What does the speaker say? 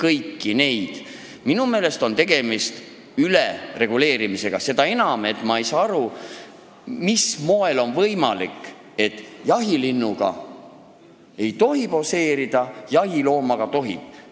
Minu meelest on eelnõus tegemist ülereguleerimisega, seda enam, et ma ei saa aru, mis moel on võimalik see, et jahilinnuga ei tohi poseerida, jahiloomaga aga tohib.